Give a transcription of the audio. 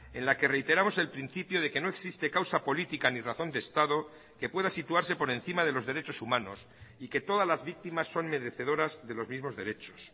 en la que reiteramos el principio de que no existe causa política ni razón de estado que pueda situarse por encima de los derechos humanos y que todas las víctimas son merecedoras de los mismos derechos